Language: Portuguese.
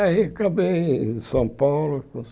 Aí acabei em São Paulo.